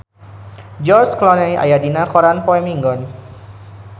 George Clooney aya dina koran poe Minggon